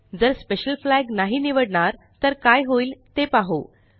जर special flag नाही निवडणार तर काय होईल ते पाहु